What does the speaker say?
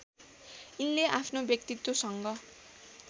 यिनले आफ्नो व्यक्तित्वसँग